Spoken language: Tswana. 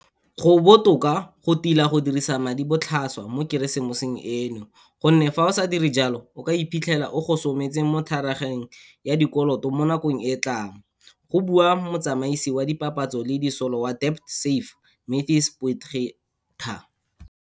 Go botoka go tila go dirisa madi botlhaswa mo Keresemoseng eno, go nne fa o sa dire jalo o ka iphitlhela o gosometse mo thagarageng ya dikoloto mo nakong e tlang, go bua motsamaisi wa dipapatso le disolo wa DebtSafe Matthys Potgieter.